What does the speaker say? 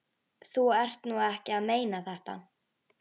Þú ert nú ekki að meina þetta!